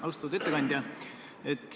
Austatud ettekandja!